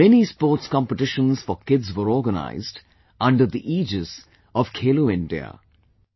Many sports competitions for kids were organized under the aegis of 'Khelo India'